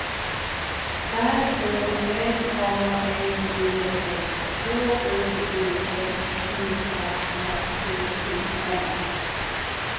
R Å L A M B S H O V S P A R K E N